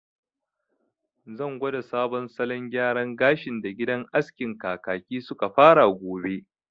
Zan gwada sabon salon gyaran gashin da gidan askin Kakaki suka fara gobe